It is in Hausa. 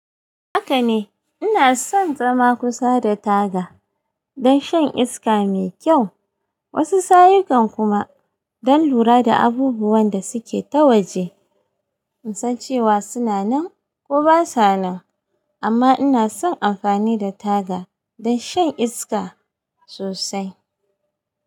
Haka ne, ina son zama kusa da taga don shan iska mai kyau, wasu sayayukan kuma don lura da abubuwan da suke ta waje in san cewa suna nan ko ba sa nan, amma ina son amfani da taga don shan iska sosai.